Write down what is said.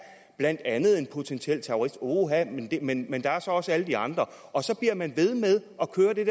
blandt andet en potentiel terrorist uha men men der er så også alle de andre og så bliver man ved med at køre det